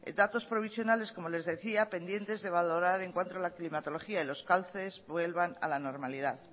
datos provisionales como les decía pendientes de valorar en cuanto a la climatología y los cauces vuelvan a la normalidad